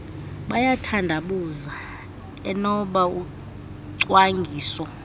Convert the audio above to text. bayathandabuza enoba ucwangiso